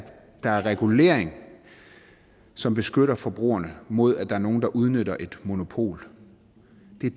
der er en regulering som beskytter forbrugerne mod at der er nogen der udnytter et monopol